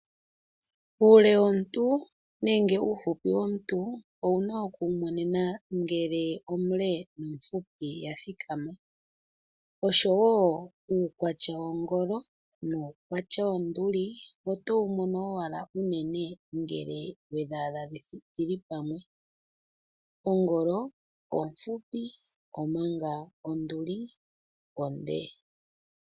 Uule womuntu nenge uufupi womuntu, owuna okuwu mona ngele omule nomufupi athikama, oshowo uukwatya wongolo nuukwatya wonduli, otowu mono owala ngele wedhaadha dhili pamwe. Ongolo ofupi, omanga onduli onde.